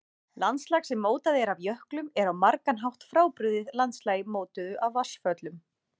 Landslag sem mótað er af jöklum er á margan hátt frábrugðið landslagi mótuðu af vatnsföllum.